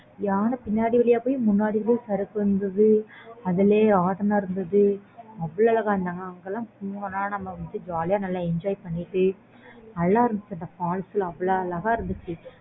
யானை பின்னாடி வழியா போய் முன்னாடி சருக்குறது இருந்துச்சு அதுலயே ராட்டினம் இருந்துது அவ்ளோ அழகா அங்க எல்லாம் நம்ம வந்து jolly யா enjoy பண்ணலாம் நல்ல இருந்துச்சு அந்த falls லாம் அவ்ளோ அழகா இருந்துச்சு